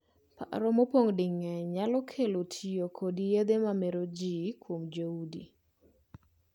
Paro mopong' di mang'eny nyalo kelo tiyo kod yedhe ma mero jii kuom joudi.